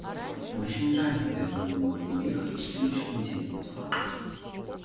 очень жаль твер но мне нужно уехать на следующей неделе по делам